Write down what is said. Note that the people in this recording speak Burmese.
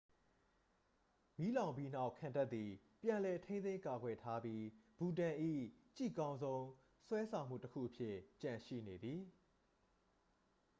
မီးလောင်ပြီးနောက် ခံတပ်သည် ပြန်လည်ထိန်းသိမ်းကာကွယ်ထားပြီ ဘူတန်၏ ကြည့်ကောင်းဆုံး ဆွဲတောင်မှုတစ်ခုအဖြစ်ကျန်ရှိနေသည်